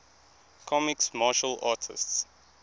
comics martial artists